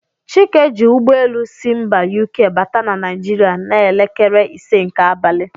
Chike ji ụgbọelu si mba UK bata na Naijiria n'elekere ise nke abalị.